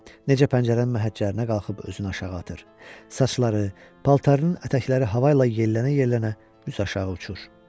Necə pəncərənin məhəccərinə qalxıb özünü aşağı atır, saçları, paltarının ətəkləri hava ilə yellənə-yellənə düz aşağı uçur.